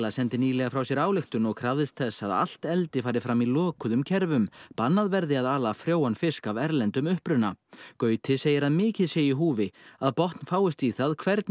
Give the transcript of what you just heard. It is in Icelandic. sendi nýlega frá sér ályktun og krafðist þess að að allt eldi fari fram í lokuðum kerfum bannað verði að ala frjóan fisk af erlendum uppruna Gauti segir að mikið sé í húfi að botn fáist í það hvernig